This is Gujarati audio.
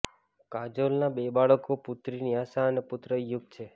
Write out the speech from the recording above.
કાજોલના બે બાળકો પુત્રી ન્યાસા અને પુત્ર યુગ છે